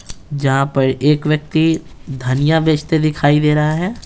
जहाँ पर एक व्यक्ति धनिया बेचते दिखाई दे रहा है।